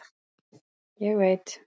Ég veit